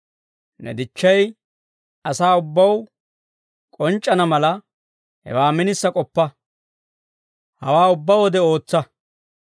Ne dichchay asaa ubbaw k'onc'c'ana mala, hewaa minisa k'oppa. Hawaa ubbaa wode ootsa.